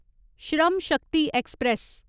Shram Shakti express